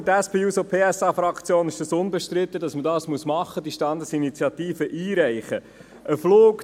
Für die SP-JUSO-PSA-Fraktion ist unbestritten, dass man die Standesinitiative einreichen muss.